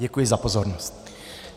Děkuji za pozornost.